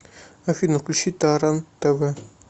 афина включи таран тэ вэ